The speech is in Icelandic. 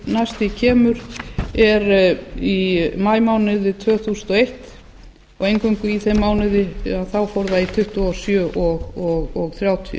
næst því kemur er í maímánuði tvö þúsund og eitt og eingöngu í þeim mánuði fór það í tuttugu og sjö og þrjátíu